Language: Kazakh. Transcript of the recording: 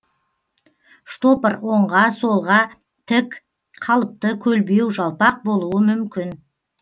штопор оңга солға тік қалыпты көлбеу жалпақ болуы мүмкін